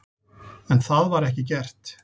En það var ekki gert.